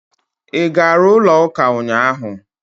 Ị gara ụlọ ụka ụnyaahụ?